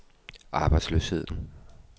arbejdsløsheden